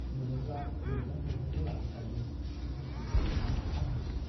मोनोब्ला मैगं-थाइगंबो लाबोफायो, बिसि खाइलेंआ फानहैयो।